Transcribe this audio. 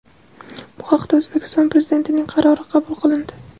Bu haqda O‘zbekiston Prezidentining qarori qabul qilindi .